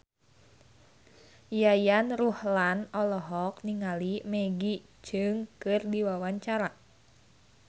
Yayan Ruhlan olohok ningali Maggie Cheung keur diwawancara